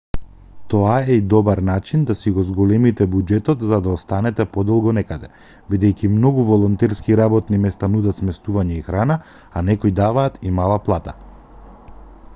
тоа е и добар начин да си го зголемите буџетот за да останете подолго некаде бидејќи многу волонтерски работни места нудат сместување и храна а некои даваат и мала плата